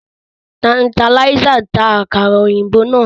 Tanterlizer ń ta àkàrà òyìnbó náà